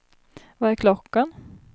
Vad är klockan